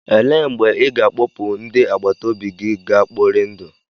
Elee mgbe ị ga-akpọpu ndị agbata obi gị ga kpọri ndụ?